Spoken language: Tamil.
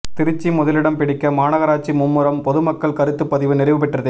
திருச்சி முதலிடம் பிடிக்க மாநகராட்சி மும்முரம் பொதுமக்கள் கருத்து பதிவு நிறைவு பெற்றது